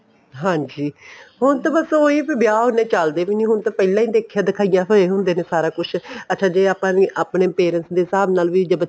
ਹਾਂਜੀ ਹੁਣ ਤੇ ਬੱਸ ਉਹੀ ਵੀ ਵਿਆਹ ਉਹਨੇ ਚੱਲਦੇ ਵੀ ਨਹੀਂ ਹੁਣ ਹੁਣ ਤੇ ਪਹਿਲਾਂ ਹੀ ਦੇਖਿਆ ਦਿਖਾਇਆ ਹੋਏ ਹੁੰਦੇ ਨੇ ਸਾਰਾ ਕੁੱਝ ਅੱਛਾ ਜ਼ੇ ਆਪਾਂ ਆਪਣੇਂ parents ਦੇ ਹਿਸਾਬ ਨਾਲ ਵੀ